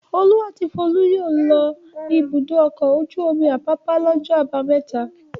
Olú àti Folú yóò lọ Ibùdó-ọkọ̀ ojú-omi Àpápá lọ́jọ́ àbámẹ́ta.